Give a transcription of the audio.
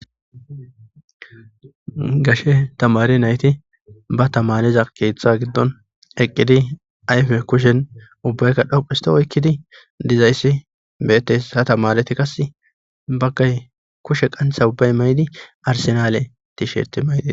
Gashe tamaare nayti ba tamaare keeththa giddon eqqidi ayfe kushen ubbaykka dhoqqu histin oykkidi dizayssi beettees ha tamaareti qasse baggay kushe qaantha ubbay mayidi arsenale tishertte mayidetes.